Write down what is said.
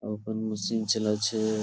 আপন মেশিন চালাচ্ছে ।